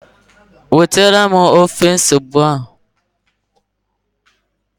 wetara m ofe ose ugbu a